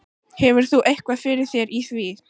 Hefur þú eitthvað fyrir þér í því?